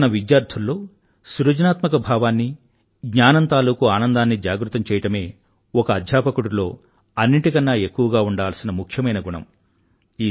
తన విద్యార్థుల్లో సృజనాత్మక భావాన్ని జ్ఞానం తాలూకూ ఆనందాన్నీ జాగృతం చేయడమే ఒక అధ్యాపకుడిలో్ అన్నింటికన్నా ఎక్కువగా ఉండాల్సిన ముఖ్యమైన గుణం